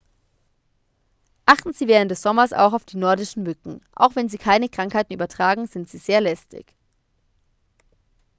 achten sie während des sommers auch auf die nordischen mücken auch wenn sie keine krankheiten übertragen sind sie sehr lästig